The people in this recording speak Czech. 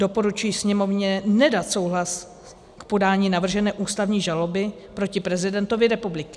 Doporučuji Sněmovně nedat souhlas k podání navržené ústavní žaloby proti prezidentovi republiky.